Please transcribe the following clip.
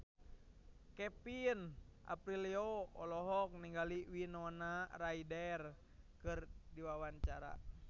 Kevin Aprilio olohok ningali Winona Ryder keur diwawancara